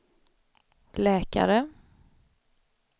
läkare